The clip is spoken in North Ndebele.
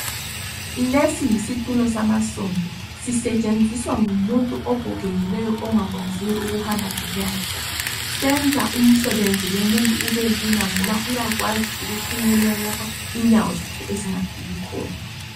Lesiyitulo samasondo sisetshenziswa ngumuntu ogogekileyo ongakwanisi ukuhamba ngenyawo zakhe senza umsebenzi womuntu ubelula ngoba uyakwazi ukufinyelela lapha inyawo zakhe ezingafiki khona